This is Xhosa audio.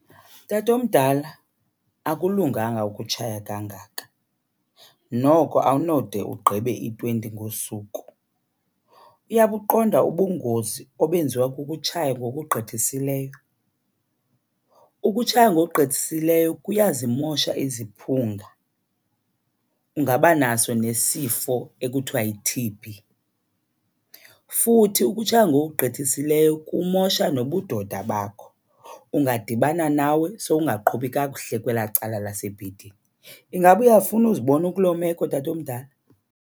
Tatomdala, akulunganga ukutshaya kangaka, noko awunode ugqibe i-twenty ngosuku. Uyabuqonda ubungozi obenziwa kukutshaya ngokugqithisileyo? Ukutshaya ngokugqithisileyo kuyazimosha iziphung,a ungaba naso nesifo ekuthiwa yi-T_B. Futhi ukutshaya ngokugqithisileyo kumosha nobudoda bakho. Ungadibana nawe sowungaqhubi kakuhle kwelaa cala lasebhedini. Ingaba uyafuna uzibona ukuloo meko, tatomdala?